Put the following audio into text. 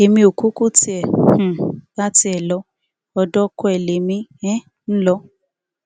èmi ò kúkú tiẹ um bá tiẹ lọ ọdọ ọkọ ẹ lèmi um ń lọ